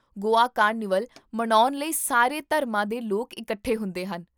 Goa carnival ਮਨਾਉਣ ਲਈ ਸਾਰੇ ਧਰਮਾਂ ਦੇ ਲੋਕ ਇਕੱਠੇ ਹੁੰਦੇ ਹਨ